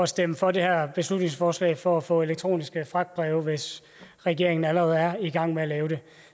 stemme for det her beslutningsforslag for at få elektroniske fragtbreve hvis regeringen allerede er i gang med at lave det